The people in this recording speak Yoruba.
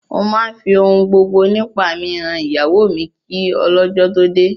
Mo máa fi ohun gbogbo nípa mi han ìyàwó mi kí ọlọ́jọ́ tó dé